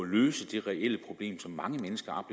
løse det reelle problem som mange mennesker